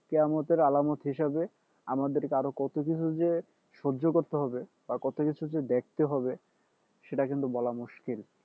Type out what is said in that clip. কিয়ামতের আলামত হিসাবে আমাদের আরও কত কিছু যে সহ্য করতে হবে আর কত কিছু যে দেখতে হবে সেটা কিন্তু বলা মুশকিল